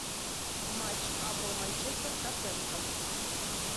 матч апл манчестер тоттенхэм